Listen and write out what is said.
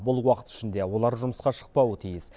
бұл уақыт ішінде олар жұмысқа шықпауы тиіс